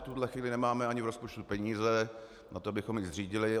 V tuhle chvíli nemáme ani v rozpočtu peníze na to, abychom ji zřídili.